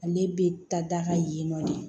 Ale bɛ ta da ka yen nɔ de